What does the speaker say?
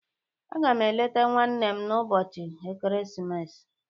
Agam eleta nwannem n'ubochi ekeresimesi.